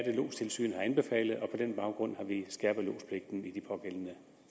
er lodstilsynet har anbefalet og på den baggrund har vi skærpet lodspligten i de pågældende